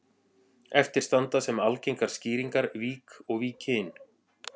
Eftir standa sem algengar skýringar vík og Víkin.